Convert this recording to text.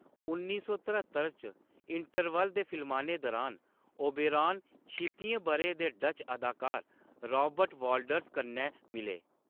उन्नी सौ तरहत्तर च, इंटरवल दे फिल्माने दुरान, ओबेरॉन छित्तियें ब'रें दे डच अदाकार राबर्ट वाल्डर्स कन्नै मिले।